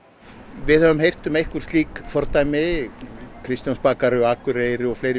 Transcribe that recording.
við höfum heyrt um einhver slík fordæmi kristjánsbakarí á Akureyri og fleiri